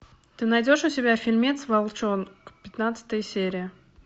ты найдешь у себя фильмец волчонок пятнадцатая серия